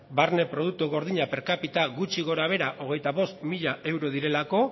barne produktu gordina per capita gutxi gorabehera hogeita bost mila euro direlako